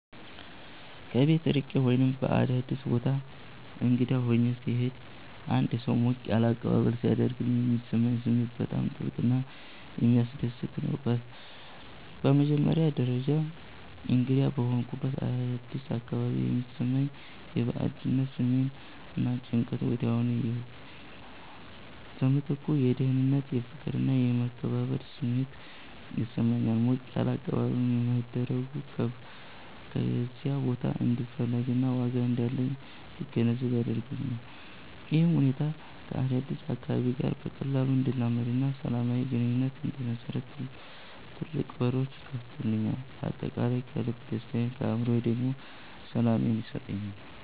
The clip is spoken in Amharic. ከቤት ርቄ ወይም በአዲስ ቦታ እንግዳ ሆኜ ስሄድ አንድ ሰው ሞቅ ያለ አቀባበል ሲያደርግልኝ የሚሰማኝ ስሜት በጣም ጥልቅና የሚያስደስት ነው። በመጀመሪያ ደረጃ፣ እንግዳ በሆንኩበት አዲስ አካባቢ የሚሰማኝ የባዕድነት ስሜት እና ጭንቀት ወዲያውኑ ይጠፋል። በምትኩ የደህንነት፣ የፍቅር እና የመከበር ስሜት ይሰማኛል። ሞቅ ያለ አቀባበል መደረጉ በዚያ ቦታ እንድፈለግና ዋጋ እንዳለኝ እንድገነዘብ ያደርገኛል። ይህም ሁኔታ ከአዲሱ አካባቢ ጋር በቀላሉ እንድላመድና ሰላማዊ ግንኙነት እንድመሰርት ትልቅ በሮች ይከፍትልኛል። በአጠቃላይ ለልቤ ደስታን ለአእምሮዬ ደግሞ ሰላምን ይሰጠኛል።